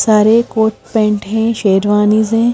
सारे coat pant हैं शेरवानीज हैं।